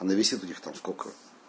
она весит у них там сколько